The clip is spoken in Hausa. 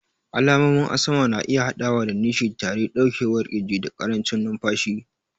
Alamomin asma na iya haɗawa da nishi, tari, ɗaurewar ƙirji, da ƙarancin numfashi.